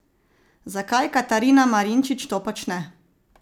Zakaj Katarina Marinčič to počne?